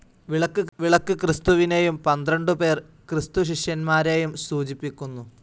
വിളക്ക് ക്രിസ്തുവിനേയും പന്ത്രണ്ടുപേർ ക്രിസ്തുശിഷ്യന്മാരേയും സൂചിപ്പിക്കുന്നു.